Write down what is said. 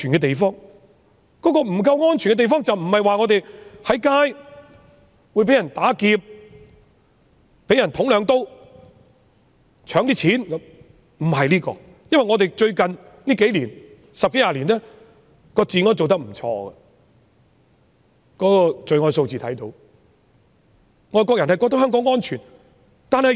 所謂不夠安全，不是指走在街上會被人打劫、被人插兩刀或搶錢等，因為香港最近十多二十年的治安也做得不錯，這方面可以從罪案數字反映。